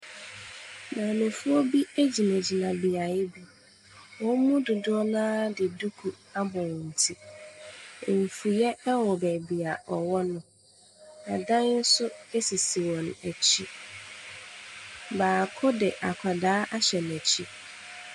Maamefoɔ bi egyina gyina beayɛ bi, wɔn mu dodoɔ noaa de duku abɔ wɔn ti. Enfuyɛ ɛwɔ baabia ɔwɔ no, ɛdan nso esisi wɔn akyi. Baako de akwadaa ahyɛ n'akyi.